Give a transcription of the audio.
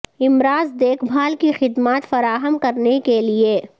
امراض دیکھ بھال کی خدمات فراہم کرنے کے لئے